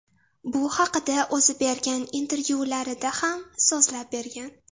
Bu haqida o‘zi bergan intervyularida ham so‘zlab bergan .